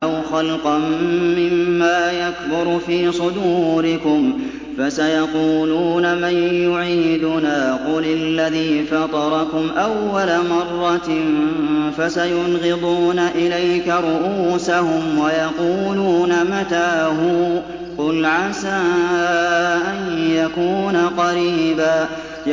أَوْ خَلْقًا مِّمَّا يَكْبُرُ فِي صُدُورِكُمْ ۚ فَسَيَقُولُونَ مَن يُعِيدُنَا ۖ قُلِ الَّذِي فَطَرَكُمْ أَوَّلَ مَرَّةٍ ۚ فَسَيُنْغِضُونَ إِلَيْكَ رُءُوسَهُمْ وَيَقُولُونَ مَتَىٰ هُوَ ۖ قُلْ عَسَىٰ أَن يَكُونَ قَرِيبًا